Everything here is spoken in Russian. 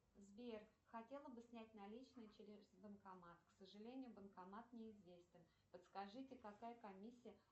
сбер хотела бы снять наличные через банкомат к сожалению банкомат неизвестен подскажите какая комиссия